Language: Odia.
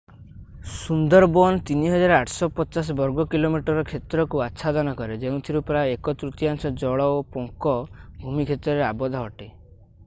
ସୁନ୍ଦରବନ୍ 3,850 ବର୍ଗ କିଲୋମିଟର କ୍ଷେତ୍ରକୁ ଆଛାଦନ କରେ ଯେଉଁଥିରୁ ପ୍ରାୟ 1 ତୃତୀୟାଂଶ ଜଳ / ପଙ୍କ ଭୂମି କ୍ଷେତ୍ରରେ ଆବଦ୍ଧ ଅଟେ